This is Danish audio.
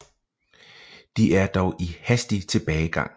De er dog i hastig tilbagegang